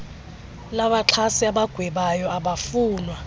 labaxhasi abagwebayo abafunwa